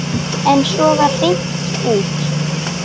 En svo var hringt út.